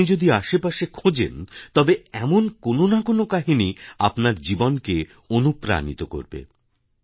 আপনি যদি আশেপাশে খোঁজেন তবে এমন কোন না কোনো কাহিনি আপনার জীবনকে অনুপ্রাণিত করবে